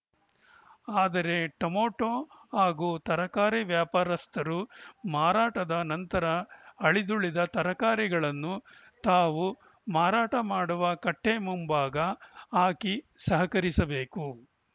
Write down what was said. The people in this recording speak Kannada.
ಆದರೆ ಟೊಮೆಟೋ ಹಾಗೂ ತರಕಾರಿ ವ್ಯಾಪಾರಸ್ಥರು ಮಾರಾಟದ ನಂತರ ಅಳಿದುಳಿದ ತರಕಾರಿಗಳನ್ನು ತಾವು ಮಾರಾಟ ಮಾಡುವ ಕಟ್ಟೆಮುಂಭಾಗ ಹಾಕಿ ಸಹಕರಿಸಬೇಕು